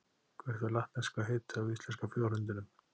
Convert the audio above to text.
Hvert er latneska heitið á íslenska fjárhundinum?